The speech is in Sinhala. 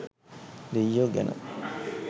දෙයියෝ ගැන